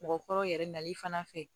Mɔgɔkɔrɔbaw yɛrɛ nali fana fɛ